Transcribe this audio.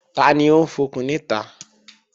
Tani ń fọkùn níta?